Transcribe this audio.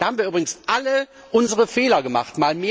Da haben wir übrigens alle unsere Fehler gemacht.